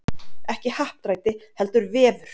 Ekki happdrætti heldur vefur